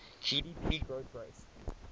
gdp growth rate